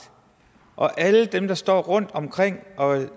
og alle dem der står rundt omkring og